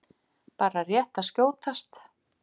Bara rétt að skjótast.